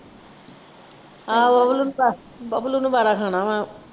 ਆਹੋ ਬਬਲੂ ਨੂੰ ਵਾਰ ਖਾਣਾ ਵਾ।